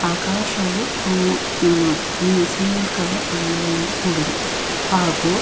ಆಕಾಶವು ಅಹ್ ಆ ನೀ ಸಿಮೆಂಟ್ ಕಲರ್ ಬಣ್ಣದಿಂದ ಕೂಡಿದೆ ಹಾಗು --